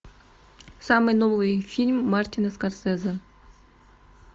самый новый фильм мартина скорсезе